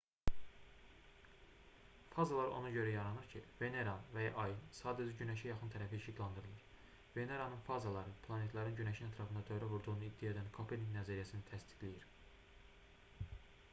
fazalar ona görə yaranır ki veneranın və ya ayın sadəcə günəşə yaxın tərəfi işıqlandırılır. veneranın fazaları planetlərin günəşin ətrafında dövrə vurduğunu iddia edən kopernik nəzəriyyəsini təsdiqləyir